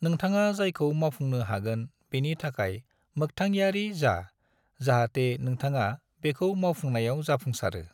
नोंथाङा जायखौ मावफुंनो हागोन बेनि थाखाय मोख्थांयारि जा जाहते नोंथाङा बेखौ मावफुंनायाव जाफुंसारो।